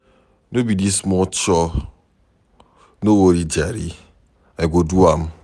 No be dis small chore, no worry jare I go do am.